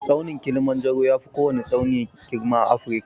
Tsaunin kilimanjaro yafi kowwani tsauni girma a Afirka.